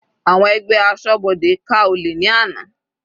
Àwọn ẹgbẹ́ asọ́bodè ká olè ní àná.